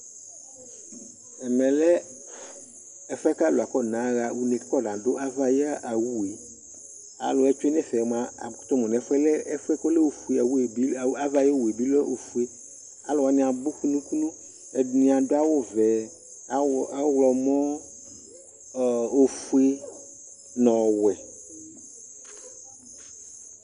ɛmɛ lɛ ɛfuɛ k'alò akɔna ɣa une k'afɔna do ava ayi owu yɛ alo wa tsue n'ɛfɛ moa ako to mo no ɛfu yɛ lɛ ɛfuɛ k'ɔlɛ ofue owu yɛ bi ava ayi owu yɛ bi lɛ ofue alo wani abò kunu kunu ɛdini adu awu vɛ ɛdini ɔwlɔmɔ ofue n'ɔwɛ